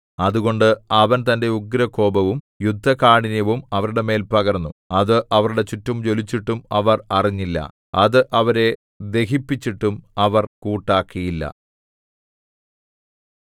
അതുകൊണ്ട് അവൻ തന്റെ ഉഗ്രകോപവും യുദ്ധകാഠിന്യവും അവരുടെ മേൽ പകർന്നു അത് അവരുടെ ചുറ്റും ജ്വലിച്ചിട്ടും അവർ അറിഞ്ഞില്ല അത് അവരെ ദഹിപ്പിച്ചിട്ടും അവർ കൂട്ടാക്കിയില്ല